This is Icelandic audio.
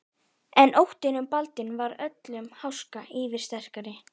En óttinn um Baldvin varð öllum háska yfirsterkari.